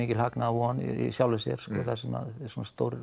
mikil hagnaðarvon í sjálfu sér sko þar sem að svona stórar